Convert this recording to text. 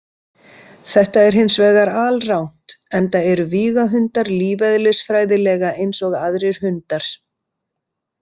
Þetta er hins vegar alrangt enda eru vígahundar lífeðlisfræðilega eins og aðrir hundar.